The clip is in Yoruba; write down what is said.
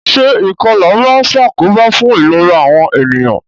Se ìkolà ma n sàkóbá fun ìlera àwon ènìyàn